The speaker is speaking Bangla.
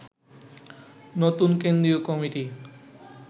নতুন কেন্দ্রীয় কমিটি